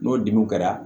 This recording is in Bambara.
N'o dimiw kɛra